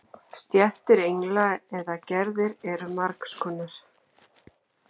Stéttir engla eða gerðir eru margs konar.